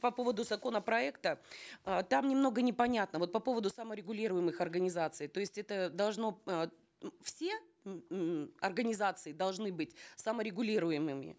по поводу законопроекта э там немного непонятно вот по поводу саморегулируемых организаций то есть это должно э все ммм организации должны быть саморегулируемыми